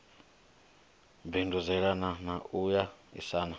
bindudzelana na u a isana